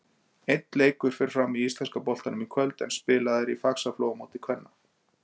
Einn leikur fer fram í íslenska boltanum í kvöld, en spilað er í Faxaflóamóti kvenna.